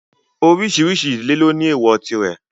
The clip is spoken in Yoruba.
Oríṣiríṣi ìdílé ló ní èwọ̀ tirẹ̀.